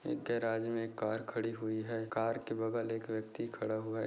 एक गैराज़ में कार खड़ी हुई है कार के बगल एक व्यक्ति खड़ा हुआ है।